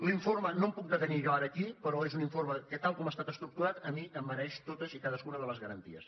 l’informe no em puc detenir jo ara aquí però és un informe que tal com ha estat estructurat a mi em mereix totes i cadascuna de les garanties